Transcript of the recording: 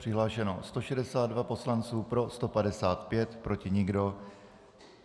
Přihlášeno 162 poslanců, pro 155, proti nikdo.